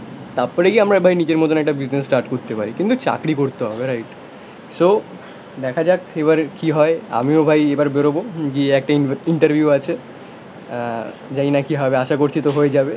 তারপরে গিয়ে আমরা ভাই নিজের মতন একটা বিজনেস স্টার্ট করতে পারি, কিন্তু চাকরি করতে হবে রাইট? সো, দেখা যাক এবার এর কি হয়. আমিও ভাই এবার বেরোবো. গিয়ে একটা ইন্টারভিউ আছে. জানিনা কি হবে আশা করছি তো হয়ে যাবে